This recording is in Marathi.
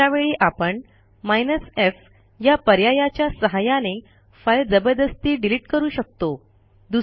अशा वेळी आपण f या पर्यायाच्या सहाय्याने फाईल जबरदस्ती डिलिट करू शकतो